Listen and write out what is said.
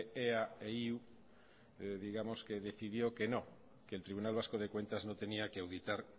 ea e iu digamos que decidió que no que el tribunal vasco de cuentas no tenía que auditar